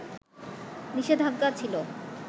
নিষেধাজ্ঞা ছিল